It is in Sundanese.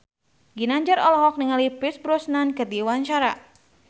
Ginanjar olohok ningali Pierce Brosnan keur diwawancara